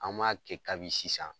An b'a kɛ kabi sisan.